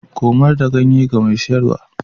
Komar da ganye ga mai siyarwa.